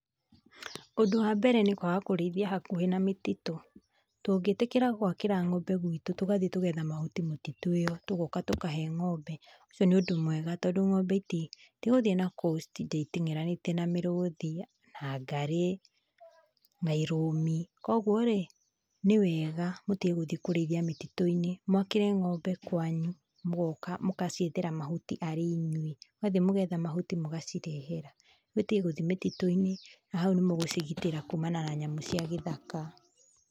Ũndũ wa mbere nĩ kwaga kũrĩithia hakuhĩ na mĩtitũ, tungĩtĩkĩra gwakĩra ng'ombe guitũ tũgathiĩ tũgetha mahuti mĩtitũ ĩyo tũgoka tũkahe ng'ombbe, ũcio nĩ ũndũ mwega. Tondũ ng'ombe itigũthiĩ nakũu itinde iteng'eranĩtie na mĩrũthi na ngarĩ na irũmi. Koguo rĩ nĩ wega tũtige gũthiĩ kũrĩithia mĩtitũ-inĩ. Mwakĩre ng'ombe kwanyu, mũgoka mũgaciethera mahuti arĩ inyuĩ. Mugathiĩ mũgetha mahuti mũgacirehera. Nĩguo itige gũthii mĩtitũ-inĩ na hau nĩ mũgũcigitĩra kumana na nyamũ cia gĩthaka.